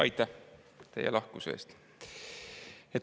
Aitäh teie lahkuse eest!